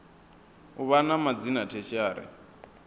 u vha na madzina tertiary